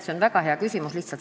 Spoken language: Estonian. See on väga hea küsimus.